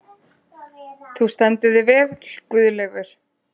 Þú stendur þig vel, Guðleifur!